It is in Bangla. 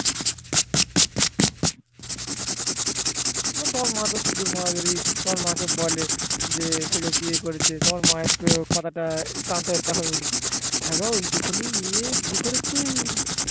সে তোমার মা যদি পিকুর মাকে বলে সে যে বিয়ে করেছে তোমার মায়ের তখন কেমন একটা হয়ে উঠবে হ্যাঁ গো ওইটুকুনি মেয়ে বিয়ে করেছে